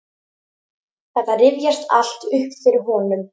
Þetta rifjast allt upp fyrir honum.